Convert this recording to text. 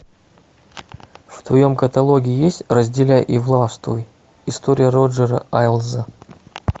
в твоем каталоге есть разделяй и властвуй история роджера эйлза